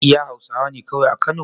Iya hausawane kawai a kano?